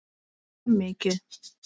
Mjög mikið.